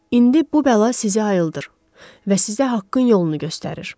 İndi bu bəla sizi ayıldır və sizə haqqın yolunu göstərir.